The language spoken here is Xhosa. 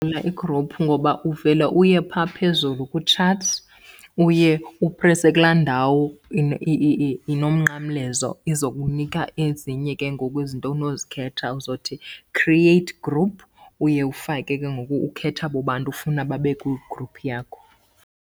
igruphu ngoba uvele uye pha phezulu ku-chats, uye uprese kulaa ndawo inomnqamlezo, izokunika ezinye ke ngoku izinto onozikhetha. Uzothi create group, uye ufake ke ngoku ukhethe abo bantu ufuna babe kwigruphu yakho.